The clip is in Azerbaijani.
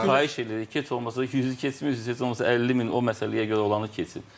Xahiş eləyirik ki, heç olmasa 100-ü keçmirik, heç olmasa 50 min o məsələyə görə olanı keçsin.